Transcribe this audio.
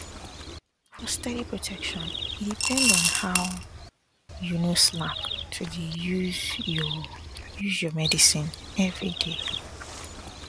for steady protection e depend on how you no slack to dey use your use your medicine everyday